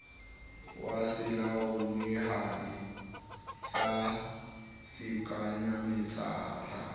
wa selalomehadi sa sekwenyamatjhaba ha